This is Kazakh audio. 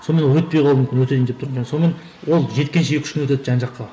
сонымен өтпей қалуы мүмкін өтейін деп тұрып сонымен ол жеткенше екі үш күн өтеді жан жаққа